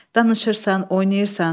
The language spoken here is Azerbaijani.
Danışırsan, oynayırsan.